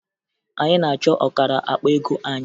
Anyị na-achọ ọkara akpa ego anyị